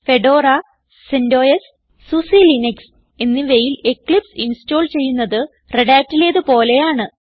Fedora CentOS SUSE Linux എന്നിവയിൽ Eclipse install ചെയ്യുന്നത് Redhatലേത് പോലെയാണ്